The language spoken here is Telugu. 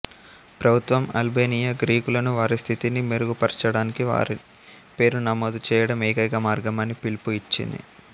ప్రభుత్వం అల్బేనియా గ్రీకులను వారి స్థితిని మెరుగుపర్చడానికి వారి పేరును నమోదు చేయడం ఏకైక మార్గం అని పిలుపు ఇచ్చింది